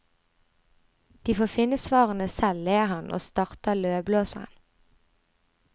De får finne svarene selv, ler han, og starter løvblåseren.